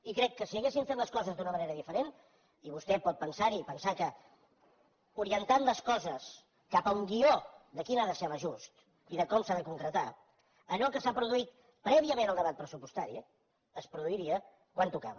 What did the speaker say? i crec que si haguessin fet les coses d’una manera diferent i vostè pot pensar hi i pensar que orientant les coses cap a un guió de quin ha de ser l’ajust i de com s’ha de concretar allò que s’ha produït prèviament al debat pressupostari es produiria quan tocava